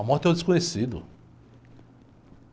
A morte é o desconhecido.